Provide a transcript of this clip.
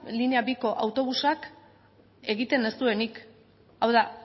linea biko autobusak egiten ez duenik hau da